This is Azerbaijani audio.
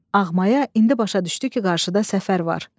Ağmaya indi başa düşdü ki, qarşıda səfər var.